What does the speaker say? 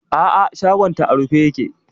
A'a shagonta a rufe yake.